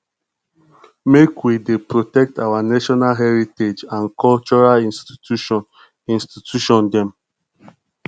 make we dey protect our national heritage and cultural institution institution dem